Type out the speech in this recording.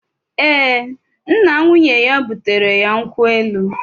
Ee, nna nwunye ya butere ya nkwụ elu